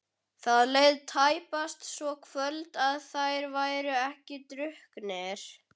Það leið tæpast svo kvöld að þeir væru ekki drukknir.